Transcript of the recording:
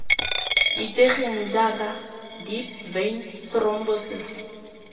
itsegeng jaaka deep vein thrombosis